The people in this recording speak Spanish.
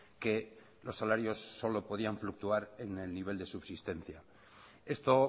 que los salarios solo podían fluctuar en el nivel de subsistencia esto